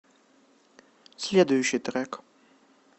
следующий трек